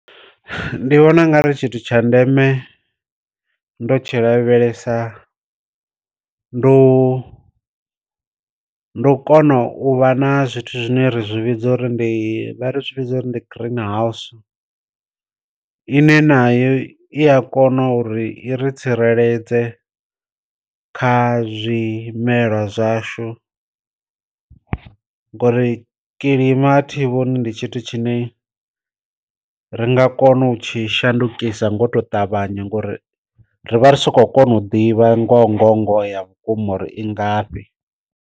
Ndi vhona u nga ri tshithu tsha ndeme ndo tshi lavhelesa ndu ndu u kona u vha na zwithu zwine ri zwi vhidza uri ndi vha ri zwi vhidza uri ndi green house ine nayo i a kona uri i ri tsireledze kha zwimela zwashu, ngori kilima a thi vhoni ndi tshithu tshine ri nga kona u tshi shandukisa ngo to ṱavhanya ngori rivha ro soko kona u ḓivha ngo ngo ngoho ya vhukuma uri i ngafhi.